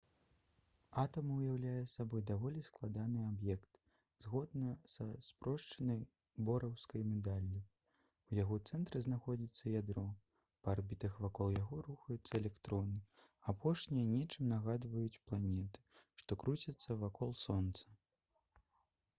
атам уяўляе сабой даволі складаны аб'ект. згодна са спрошчанай бораўскай мадэллю у яго цэнтры знаходзіцца ядро па арбітах вакол якога рухаюцца электроны. апошнія нечым нагадваюць планеты што круцяцца вакол сонца гл. малюнак 1.1.